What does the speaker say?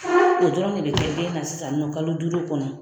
O dɔrɔn de bɛ kɛ den na sisannɔ kalo duuru kɔnɔ.